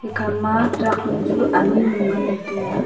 ekha ma truck nu chu anyi nu ngan le tai a.